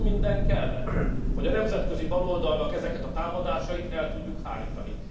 Sok minden kellett, hogy a nemzetközi baloldalnak ezeket a támadásait el tudjuk hárítani.